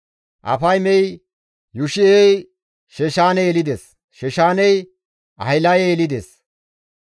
Afaymey Yushi7e yelides; Yushi7ey Sheshaane yelides; Sheshaaney Ahilaye yelides.